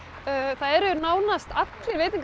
það eru nánast allir